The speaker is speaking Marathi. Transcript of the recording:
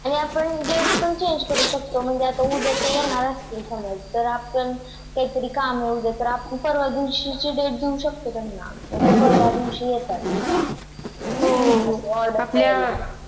हो आपण Date पण Change करू शकतो म्हणजे उद्या ते येणार असतील समझ तर आपण काहीतरी काम आहे तर आतापणपरवा दिवशीचे Date सह्कतो त्यांना मग ते परवा दिवशी येतात